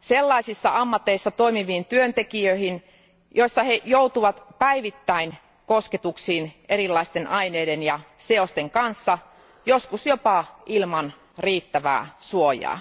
sellaisissa ammateissa toimiviin työntekijöihin, joissa joudutaan päivittäin kosketuksiin erilaisten aineiden ja seosten kanssa, joskus jopa ilman riittävää suojaa.